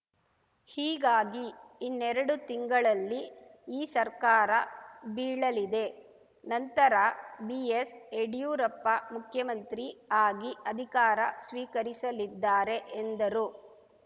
ಹೀಗಾಗಿ ಇನ್ನೆರಡು ತಿಂಗಳಲ್ಲಿ ಈ ಸರ್ಕಾರ ಬೀಳಲಿದೆ ನಂತರ ಬಿಎಸ್‌ಯಡ್ಯೂರಪ್ಪ ಮುಖ್ಯಮಂತ್ರಿ ಆಗಿ ಅಧಿಕಾರ ಸ್ವೀಕರಿಸಲಿದ್ದಾರೆ ಎಂದರು